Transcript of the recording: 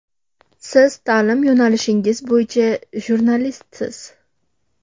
Siz ta’lim yo‘nalishingiz bo‘yicha jurnalistsiz.